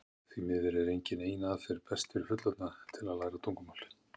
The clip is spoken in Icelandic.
því miður er engin ein aðferð best fyrir fullorðna til að læra tungumál